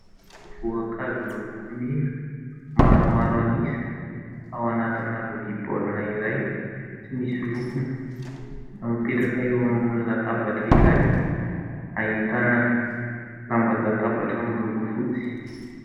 voankazo miloko mena maromaro an'isa ao anatina lovia baolina iray tsy misy lokony, mipetraka eo ambony latabatra iray hahitana lamban-databatra miloko fotsy